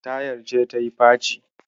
Tayar ce tayi faci.